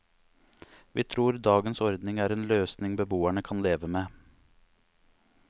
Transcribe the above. Vi tror dagens ordning er en løsning beboerne kan leve med.